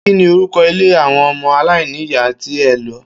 Kí ni orúko̩ ilé àwo̩n o̩mo̩ aláìníyàá tí e̩ lo̩?